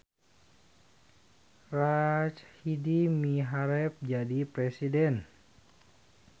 Rachidi miharep jadi presiden